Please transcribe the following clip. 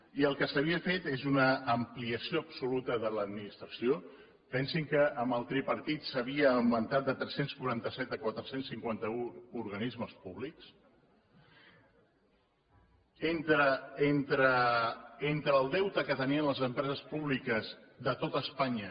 i el que s’havia fet és una ampliació absoluta de l’administració pensin que amb el tripartit s’havia augmentat de tres cents i quaranta set a quatre cents i cinquanta un organismes públics entre el deute que tenien les empreses públiques de tot espanya